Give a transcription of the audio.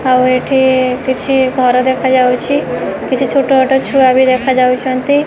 ଆଉ ଏଠି କିଛି ଘର ଦେଖାଯାଉଛି। କିଛି ଛୋଟ ଛୋଟ ଛୁଆ ବି ଦେଖାଯାଉଛନ୍ତି।